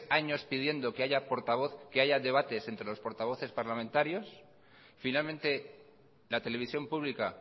años pidiendo que haya debates entre los portavoces parlamentarios finalmente la televisión pública